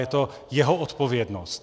Je to jeho odpovědnost.